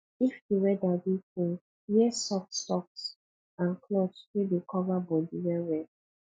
if di weather dey cold wear soft socks and cloth wey dey cover bodi well well